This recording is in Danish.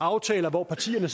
aftaler hvor partierne